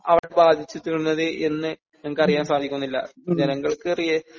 അവിടെ ബാധിച്ചിട്ടുള്ളത് എന്ന് ഞങ്ങക്കറിയാൻ സാധിക്കുന്നില്ല ജനങ്ങൾക്ക്